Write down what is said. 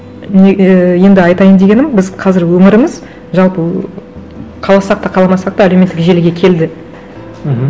не і енді айтайын дегенім біз қазір өміріміз жалпы қаласақ та қаламасақ та әлеуметтік желіге келді мхм